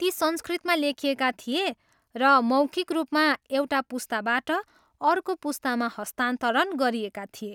ती संस्कृतमा लेखिएका थिए र मौखिक रूपमा एउटा पुस्ताबाट अर्को पुस्तामा हस्तान्तरण गरिएका थिए।